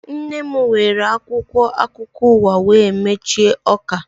Nne m were akwụkwọ akụkọ ụwa wee machie ọka